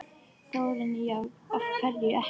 Þórarinn: Já, af hverju ekki?